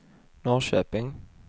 Norrköping